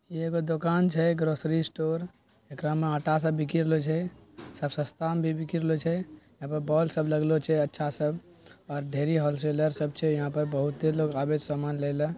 इ एगो दुकान छै ग्रॉसरी स्टोर ऐकरा में आटा सब बिकी रहलो छै सब सस्ता मे भी बिकी रहलो छै यहां पर बोल सब लगलो छैअच्छा सब और ढेरी होलशेयर सब छै यहां पर बहुते लोग आवे छै समान ले ले।